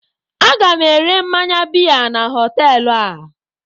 Aga m ere mmanya biya na họteelụ a.